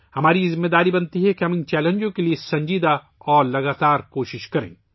یہ ہماری ذمہ داری بنتی ہے کہ ہم ان چیلنجز کے لئے سنجیدہ اور مستقل کوششیں کریں